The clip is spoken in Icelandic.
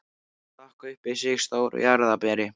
Stakk upp í sig stóru jarðarberi.